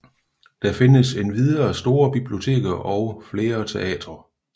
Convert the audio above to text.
Der findes endvidere store biblioteker og flere teatre